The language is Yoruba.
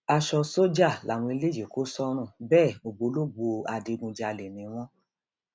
aṣọ sójà làwọn eléyìí kò sọrùn bẹẹ ògbólògbó adigunjalè ni wọn